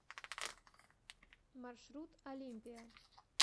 маршрут олимпия